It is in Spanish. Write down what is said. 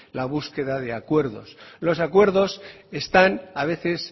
la búsqueda de acuerdos los acuerdos están a veces